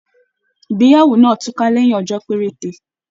Ìgbéyàwó náà tuka lẹyìn ọjọ perete.